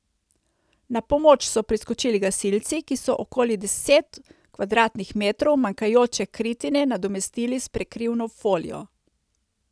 Na pomoč so priskočili gasilci, ki so okoli deset kvadratnih metrov manjkajoče kritine nadomestili s prekrivno folijo.